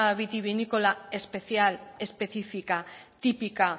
vitivinícola especial específica típica